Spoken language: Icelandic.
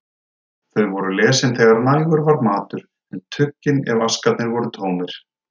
Þau voru lesin þegar nægur var matur, en tuggin ef askarnir voru tómir.